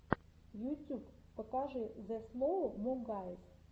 ютьюб покажи зе слоу мо гайз